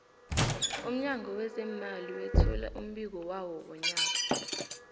umnyango wezeemali wethula umbiko wawo wonyaka